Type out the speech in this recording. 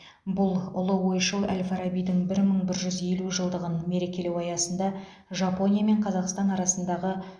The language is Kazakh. бұл ұлы ойшыл әл фарабидің бір мың бір жүз елу жылдығын мерекелеу аясында жапония мен қазақстан арасындағы